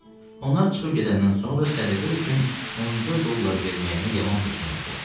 Onlar çıxıb gedəndən sonra sədəqə üçün onca dollar verməyimə yaman peşman oldum.